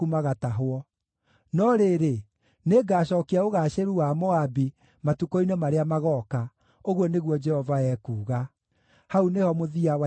“No rĩrĩ, nĩngacookia ũgaacĩru wa Moabi matukũ-inĩ marĩa magooka,” ũguo nĩguo Jehova ekuuga. Hau nĩho mũthia wa ituĩro rĩa Moabi.